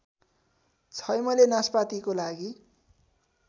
छैमले नास्पातिको लागि